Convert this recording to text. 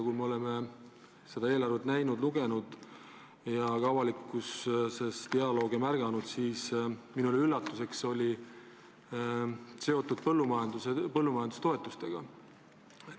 Me oleme seda eelarvet näinud ja märganud avalikkuses kommentaare, mis minule üllatuseks on seotud põllumajandustoetustega.